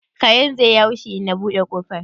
karen zai yi haushi in na buɗe kofar?